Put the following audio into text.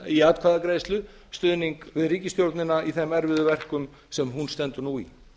í atkvæðagreiðslu stuðning við ríkisstjórnina í þeim erfiðu verkum sem hún stendur nú í